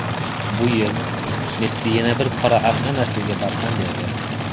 Bu yil Messi yana bir qora an’anasiga barham bergan.